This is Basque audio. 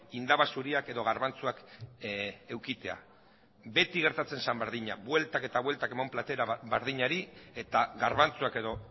indaba zuriak edo garbantzuak edukitzea beti gertatzen zen berdina bueltak eta bueltak eman platera berdinari eta garbantzuak edo